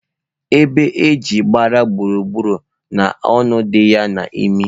Ebe aji gbara gburu gburu, na onu di ya nime